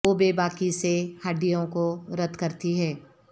وہ بے باکی سے ہڈیوں کو رد کرتی ہے